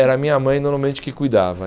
Era a minha mãe, normalmente, que cuidava.